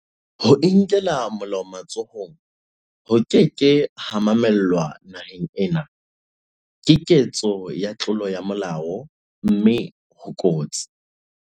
Ho inkela molao matsohong ho ke ke ha mamellwa naheng ena, Ke ketso ya tlolo ya molao mme ho kotsi.